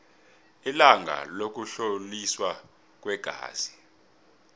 ilanga lokuhloliswa kweengazi